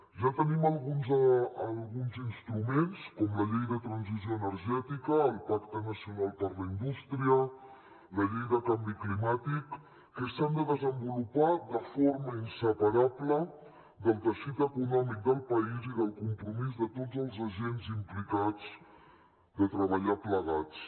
ja tenim alguns instruments com la llei de transició energètica el pacte nacional per a la indústria la llei del canvi climàtic que s’han de desenvolupar de forma inseparable del teixit econòmic del país i del compromís de tots els agents implicats de treballar plegats